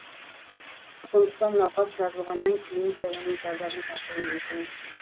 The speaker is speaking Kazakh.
сондықтан науқас жазылғаннан кейін де оның зардабын тартуы мүмкін